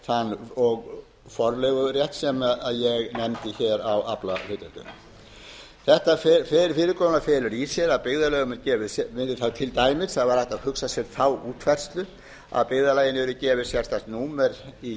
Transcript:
sér þann forleigurétt sem ég nefndi á aflahlutdeildina þetta fyrirkomulag felur það í sér til dæmis að hægt er að hugsa sér þá útfærslu að byggðarlaginu yrði gefið sérstakt númer í